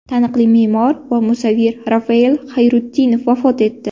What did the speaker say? Taniqli me’mor va musavvir Rafael Xayrutdinov vafot etdi.